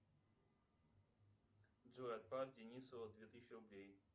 джой отправь денису две тысячи рублей